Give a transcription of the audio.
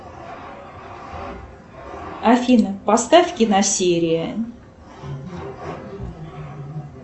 афина поставь киносерия